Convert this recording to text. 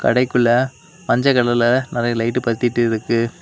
கடைக்குள்ள மஞ்செ கலர்ல நெறைய லைட் பத்திட்டு இருக்கு.